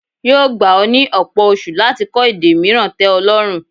Yóò gba ọ́ ní ọ̀pọ̀ oṣu láti kọ èdè mìíràn tẹ́ ọ lọ́rùn.